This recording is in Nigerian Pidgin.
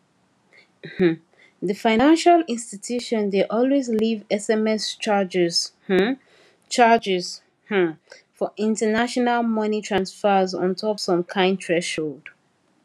um the financial institution dey always leave sms charges um charges um for international money transfers ontop some kind threshold